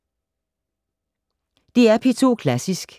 DR P2 Klassisk